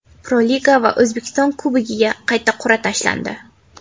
Pro-Liga va O‘zbekiston Kubogiga qayta qur’a tashlandi.